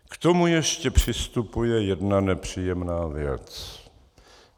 K tomu ještě přistupuje jedna nepříjemná věc.